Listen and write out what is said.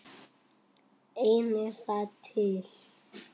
Einnig það er til.